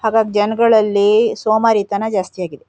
ಹಾಗಾಗ್ ಜನಗಳಲ್ಲಿ ಸೋಮಾರಿತನ ಜಾಸ್ತಿ ಆಗಿದೆ.